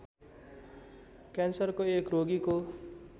क्यान्सरको एक रोगीको